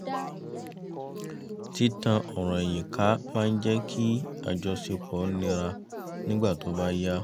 tí tan ọ̀rọ̀ ẹ̀yìn ká máa ń jẹ́ kí àjọṣepọ̀ níra nígbà tó bá yá